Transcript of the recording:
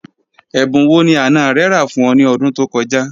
Ẹ̀bùn wọ́ ni àná rẹ̀ rà fún ọ̀ ni ọ̀dún tó kọ̀ja?